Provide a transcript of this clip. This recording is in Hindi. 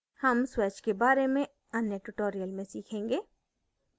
हम swatch के बारे में अन्य tutorial में सीखेंगे